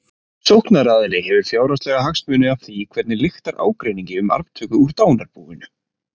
Sóknaraðili hefur fjárhagslega hagsmuni af því hvernig lyktar ágreiningi um arftöku úr dánarbúinu.